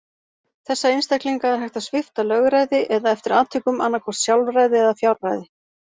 Þessa einstaklinga er hægt að svipta lögræði, eða eftir atvikum annað hvort sjálfræði eða fjárræði.